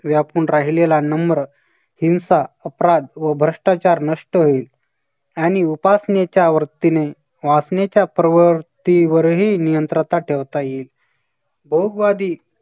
व्यापून राहिलेला नम्र, हिंसा, अपराध व भ्रष्टाचार नष्ट होईल. आणि उपासनेच्या वतीने वासनेच्या प्रवृत्तीवरही नियंत्रता ठेवता येईल. होपवादी